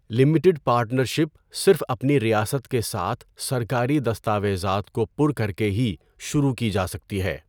Limited partnership صرف اپنی ریاست کے ساتھ سرکاری دستاویزات کو پُر کر کے ہی شروع کی جا سکتی ہے۔